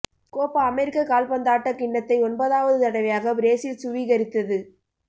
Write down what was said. Koppa America கால்பந்தாட்டக் கிண்ணத்தை ஒன்பதாவது தடவையாக பிரேஸில் சுவீகரித்தது